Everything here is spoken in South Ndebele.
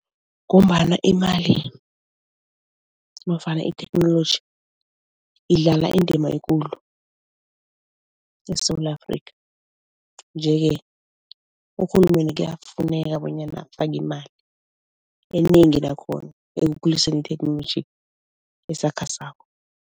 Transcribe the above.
Ngombana imali nofana itheknoloji idlala indima ekulu eSewula Afrika nje-ke urhulumende kuyafuneka bonyana afake imali, enengi nakhona, ekukhuliseni itheknoloji esakhasako.